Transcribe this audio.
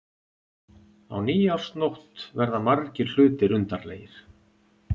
Á nýársnótt verða margir hlutir undarlegir.